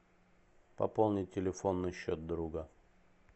пополнить телефонный счет друга